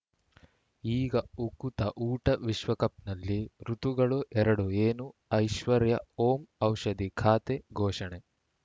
ಈಗ ಉಕುತ ಊಟ ವಿಶ್ವಕಪ್‌ನಲ್ಲಿ ಋತುಗಳು ಎರಡು ಏನು ಐಶ್ವರ್ಯಾ ಓಂ ಔಷಧಿ ಖಾತೆ ಘೋಷಣೆ